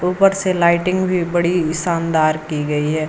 ऊपर से लाइटिंग भी बड़ी शानदार की गई है।